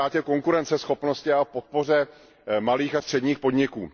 o ztrátě konkurenceschopnosti a o podpoře malých a středních podniků.